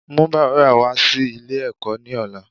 Mú bàbá re wá sí Ilé èkó ní ọ̀la